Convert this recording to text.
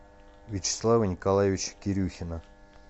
вячеслава николаевича кирюхина